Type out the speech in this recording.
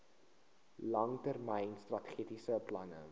langtermyn strategiese plan